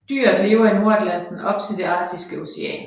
Dyret lever i Nordatlanten op til det Arktiske Ocean